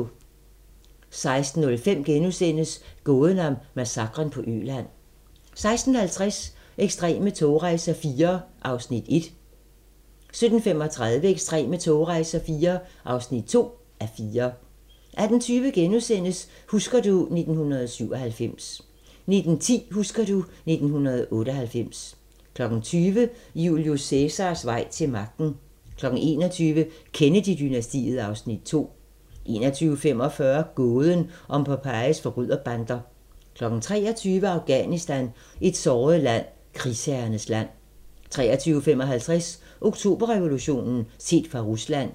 16:05: Gåden om massakren på Øland * 16:50: Ekstreme togrejser IV (1:4) 17:35: Ekstreme togrejser IV (2:4) 18:20: Husker du ... 1997 * 19:10: Husker du ... 1998 20:00: Julius Cæsars vej til magten 21:00: Kennedy-dynastiet (Afs. 2) 21:45: Gåden om Pompejis forbryderbander 23:00: Afghanistan – et såret land: Krigsherrernes land 23:55: Oktoberrevolutionen – set fra Rusland